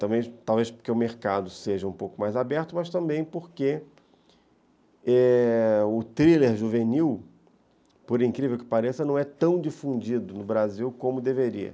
Talvez talvez porque o mercado seja um pouco mais aberto, mas também porque o thriller juvenil, por incrível que pareça, não é tão difundido no Brasil como deveria.